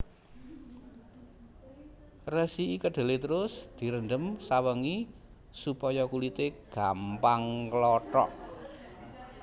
Resiki kedhelé terus direndhem sawengi supaya kulité gampang nglothok